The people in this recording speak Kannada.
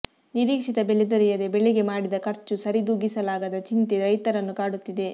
ನಿರೀಕ್ಷಿತ ಬೆಲೆ ದೊರೆಯದೇ ಬೆಳೆಗೆ ಮಾಡಿದ ಖರ್ಚು ಸರಿದೂಗಿಸಲಾಗದ ಚಿಂತೆ ರೈತರನ್ನು ಕಾಡುತ್ತಿದೆ